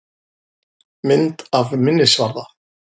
Mynd af minnisvarða.